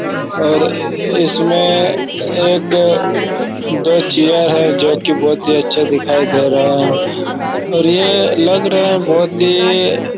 और इसमें एक दो चेयर है जो कि बहोत ही अच्छा दिखाई दे रहा है और ये लग रहा है बहोत ही--